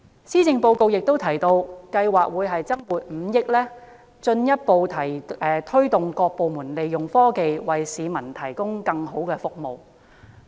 施政報告亦提到政府計劃增撥5億元，進一步推動各部門利用科技，為市民提供更好的服務。